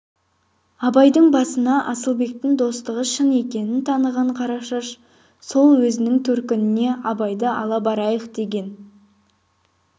абайдың басына асылбектің достығы шын екенін таныған қарашаш сол өзінің төркініне абайды ала барайық деген